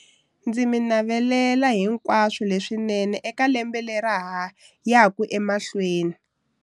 Ndzi mi navelela hinkwaswo leswinene eka lembe lera ha yaka emahlweni.